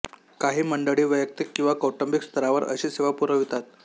काही मंडळी वैयक्तिक किंवा कौटुंबिक स्तरावर अशी सेवा पुरवितात